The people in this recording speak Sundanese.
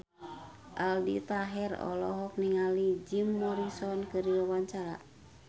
Aldi Taher olohok ningali Jim Morrison keur diwawancara